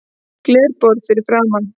Glerborð fyrir framan.